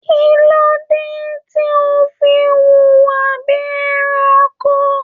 Kilode tí o fí wuwa bíi ẹranko?